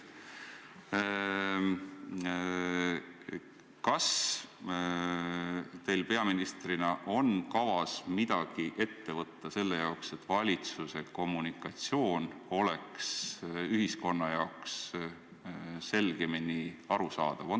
Kas teil peaministrina on kavas midagi ette võtta selle jaoks, et valitsuse kommunikatsioon oleks ühiskonna jaoks selgemini arusaadav?